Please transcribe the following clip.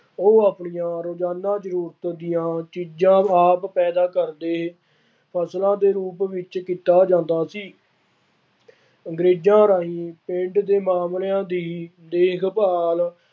ਉਹ ਆਪਣੀਆਂ ਰੋਜ਼ਾਨਾ ਜ਼ਰੂਰਤ ਦੀਆ ਚੀਜ਼ਾਂ ਆਪ ਪੈਦਾ ਕਰਦੇ, ਫਸਲਾਂ ਦੇ ਰੂਪ ਵਿੱਚ ਕੀਤਾ ਜਾਂਦਾ ਸੀ। ਅੰਗਰੇਜ਼ਾਂ ਰਾਹੀ ਪਿੰਡ ਦੇ ਮਾਮਲਿਆ ਦੀ ਦੇਖਭਾਲ